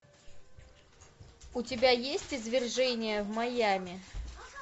у тебя есть извержение в майами